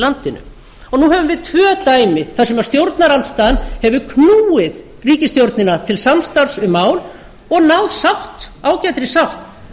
landinu nú höfum við tvö dæmi þar sem stjórnarandstaðan hefur knúið ríkisstjórnina til samstarfs um mál og náð sátt ágætri sátt